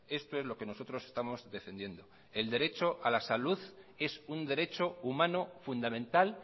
esto es lo que nosotros estamos defendiendo el derecho a la salud es un derecho humano fundamental